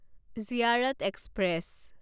Ziyarat express